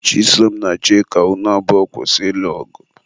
Chisom na Chika, unu abụọ kwụsị ịlụ ọgụ!